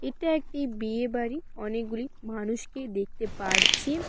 এটা একটি বিয়ে বাড়ি অনেকগুলি মানুষকে দেখতে পারছি।